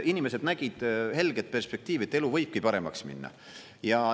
Inimesed nägid helget perspektiivi, et elu võibki paremaks minna.